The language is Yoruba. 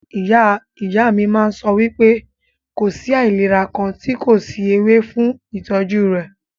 Ìyá ìyá mí máà ń sọ wípé kò sí àìlera kàn tí kò sí ewé fún ìtọ́jú rẹ̀.